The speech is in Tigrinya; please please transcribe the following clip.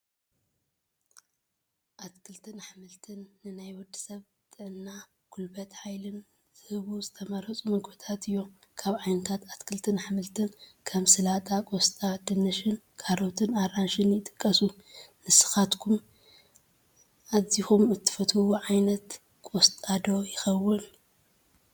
ኣትክልትን ኣሕምልትን፡- ንናይ ወዲ ሰብ ጥዕና ፣ ጉልበትን ሓይልን ዝህቡ ዝተመረፁ ምግብታት እዮም፡፡ ካብ ዓይነታት ኣትክልትን ኣሕምልትን ከም ጠላጣ፣ ቆስጣ፣ ድንሽን፣ ካሮትን ኣራንሽን ይጥቀሱ፡፡ ንስኻትኩም ኣዚኹም እትፈትዎ ዓ/ት ቆስጣ ዶ ይኸውን?